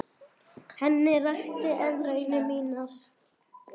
Ég rakti henni raunir mínar.